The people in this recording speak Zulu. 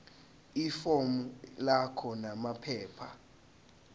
ifomu lakho namaphepha